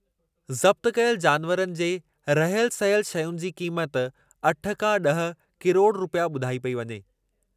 ज़ब्त कयल जानवरनि जे रहियल सहियल शयुनि जी क़ीमत अठ खां ॾह किरोड़ रुपया ॿुधाई पेई वञे।